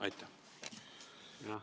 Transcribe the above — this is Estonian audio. Aitäh!